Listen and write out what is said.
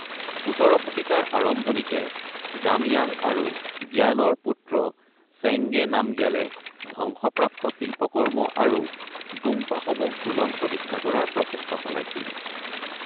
১৭ শতিকাৰ আৰম্ভণিতে জাময়াং আৰু গ্যালৰ পুত্ৰ চেংগে নামগ্যালে ধ্বংসপ্ৰাপ্ত শিল্পকৰ্ম আৰু গোম্পাসমূহ পুনঃপ্ৰতিষ্ঠা কৰাৰ প্ৰচেষ্টা চলাইছিল।